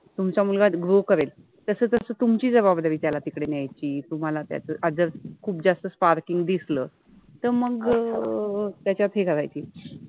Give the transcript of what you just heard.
तुमचा मुलगा जो करेल तस तस तुमचि जबाबदारि त्याला तिकडे न्यायचि, तुम्हाला त्याच अ जर खुप जास्त स्पार्किंग {sparking} दिसल तर मग अ अ अ त्याच्यात हे करायचि